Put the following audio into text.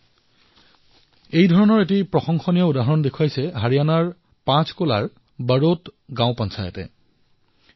নহয়নে ই অসাধাৰণ প্ৰয়াস এনেকুৱা এক অসাধাৰণ প্ৰয়াস হাৰিয়ানাক পঞ্চকুলাৰ বড়ৌত পঞ্চায়তেও কৰি দেখুৱাইছে